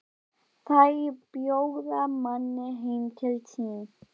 Þeir bjóða manni heim til sín.